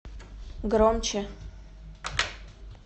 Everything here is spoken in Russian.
громче